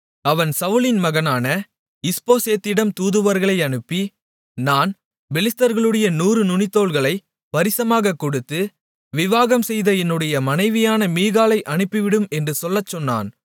அவன் சவுலின் மகனான இஸ்போசேத்திடமும் தூதுவர்களை அனுப்பி நான் பெலிஸ்தர்களுடைய 100 நுனித்தோல்களைப் பரிசமாகக் கொடுத்து விவாகம்செய்த என்னுடைய மனைவியான மீகாளை அனுப்பிவிடும் என்று சொல்லச் சொன்னான்